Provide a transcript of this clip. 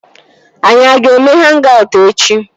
Anyị a ga-eme hang-aut echi?